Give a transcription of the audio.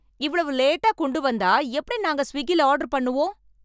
இவ்வளவு லேட்டா கொண்டு வந்தா எப்படி நாங்கள் ஸ்விக்கில ஆர்டர் பண்ணுவோம்